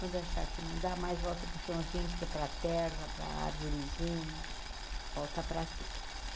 Quando achar que não dá mais, volta para o chãozinho, porque para a terra, para a árvorezinha, volta para tudo.